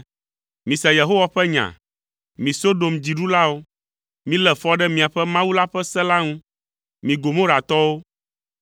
Mise Yehowa ƒe nya, mi Sodom dziɖulawo, milé fɔ ɖe míaƒe Mawu la ƒe se la ŋu, mi Gomoratɔwo!